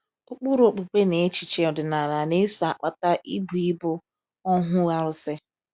Ụkpụrụ okpukpe na echiche ọdịnala na - eso akpata ịbụ ịbụ ohu arụsị.